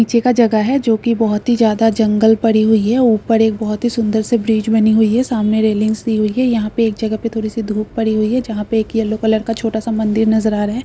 नीचे का जगह है जो की बहुत ही ज्यादा जंगल पड़ी हुई है ऊपर एक बहुत सुंदर सी ब्रिज बनी हुई है सामने रैलिंग्स दी हुई है यहां पे एक जगह पे थोड़ी सी धूप पड़ी है जहां पे एक येलो कलर का छोटा सा मंदिर नजर आ रहा है।